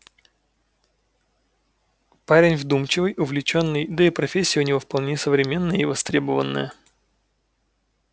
парень вдумчивый увлечённый да и профессия у него вполне современная и востребованная